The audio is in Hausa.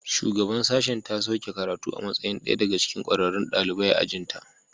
Shugabar sashen ta sauke karatu a matsayin ɗaya daga cikin ƙwararrun ɗalibai a ajin ta